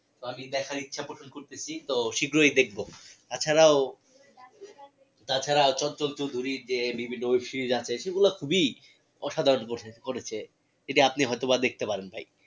তো আমি দেখার ইচ্ছা করতেসি তো শ্রীঘই দেখবো তাছাড়াও তাছাড়া সেগুলা খুবিই অসাধারণ করেছে সেটা আপনি হয়তো বা দেখতে পারেন ভাই